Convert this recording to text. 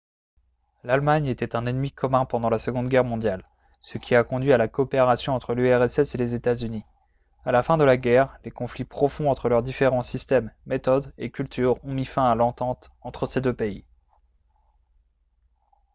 l'allemagne était un ennemi commun pendant la seconde guerre mondiale ce qui a conduit à la coopération entre l'urss et les états-unis à la fin de la guerre les conflits profonds entre leurs différents systèmes méthodes et cultures ont mis fin à l'entente entre ces deux pays